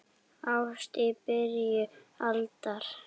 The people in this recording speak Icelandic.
Ást í byrjun aldar